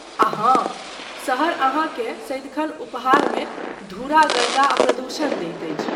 आ हाँ, शहर अहाँकेँ सदिखन उपहारमे धूरा गर्दा आ प्रदूषण दैत अछि।